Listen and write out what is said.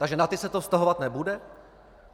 Takže na ty se to vztahovat nebude?